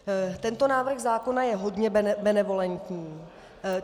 Tento návrh zákona je hodně benevolentní.